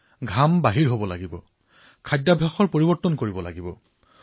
নহয় ঘাম বোৱাব লাগিব খোৱাৰ অভ্যাস পৰিৱৰ্তন কৰিব লাগিব